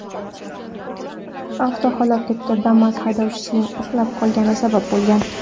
Avtohalokatga Damas haydovchisining uxlab qolgani sabab bo‘lgan.